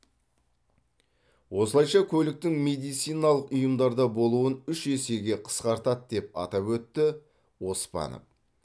осылайша көліктің медициналық ұйымдарда болуын үш есеге қысқартады деп атап өтті оспанов